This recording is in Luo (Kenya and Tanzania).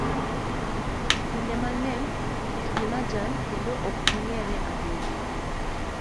Kinde mang'eny kitgi majan kendo ok ging'ere ahinya.